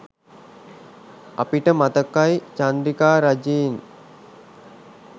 අපිට මතකයි චන්ද්‍රිකා රජයෙන්